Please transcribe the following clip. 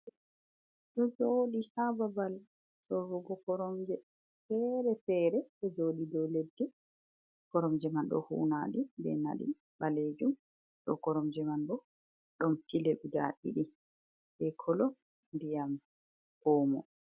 Ɗo jooɗi ha babal sorrugo koromje feere feere ɗo jooɗi dow leddi, koromje man ɗo huunaɗi be naɗi ɓalejum dou koromje man bo ɗon pilo guda ɗiɗi be kolo ndiyam omo.